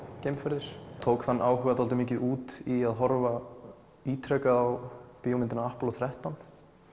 geimferðir tók þann áhuga dálítið mikið út í að horfa ítrekað á bíómyndina þrettán